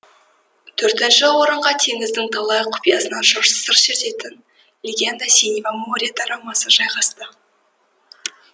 төртінші орынға теңіздің талай құпиясынан сыр шертетін легенда синего моря дорамасы жайғасты